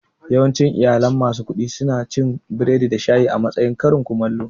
Yawancin iyalan masu kuɗi suna cin biredi da shayi a matsayin karin komallo